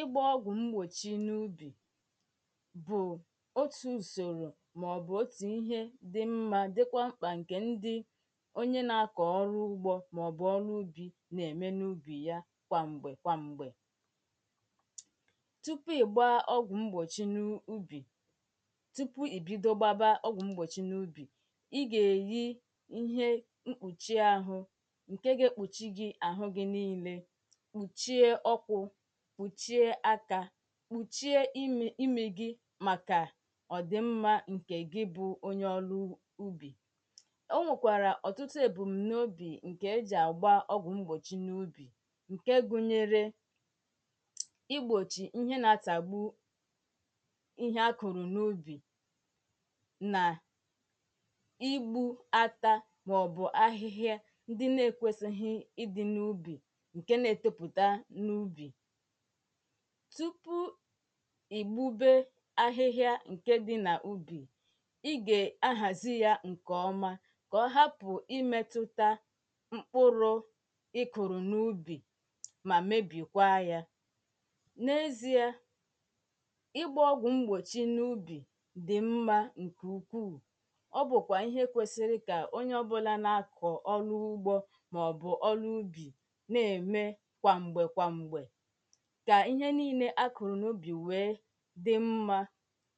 ịgba ọgwụ mgbochi n’ubi bụ otu usoro maọbụ otu ihe dị mma dịkwa mkpa nke ndị onye na-akọ ọrụ ugbo maọbụ ọrụ ubi na-eme n’ubi ya kwamgbe kwamgbe tupu ị gbaa ọgwụ mgbochi n’ubi tupu i bido gbawa ọgwụ mgbochi n’ubi ị ga-eyi ihe mkpụchie ahụ nke ga-ekpuchi gị ahụ gị niile kpuchie imi imi gi maka ọdị mma nke gị bụ onye ọlụ ubi o nwekwara ọtụtụ ebumnobi nke eji agba ọgwụ mgbochi n’ubi nke gụnyere igbochi ihe na-atagbu ihe akụrụ n’ubi na igbu ata maọbụ ahịhịa ndị na-ekwesoghi ịdị n’ubi tupu ị gbube ahịhịa nke di n’ubi ị ga-ahazi ya nke ọma ka ọ hapụ imetuta mkpụrụ ị kuru n’ubi ma mebikwaa ya n’ezi ị gbaa ọgwụ mgbochi n’ubi dị mma nke ukwuu ọ bụkwa ihe kwesịrị ka onye ọ bụla na-akọ ọ n’ugbo maọbụ ọ n’ubi na-eme kwa mgbe kwa mgbe ka ihe niile a kụrụ n’ubi wee dị mma